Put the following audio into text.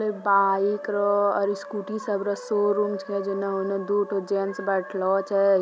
एक बाइक र और स्कूटी सबरो शोरूम छकै जेना उना दूठो जेन्स बेठलो छै।